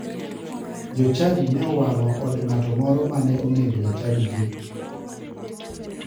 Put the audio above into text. Jochadi ne owang'o od ng'ato moro mane onego jachadigi.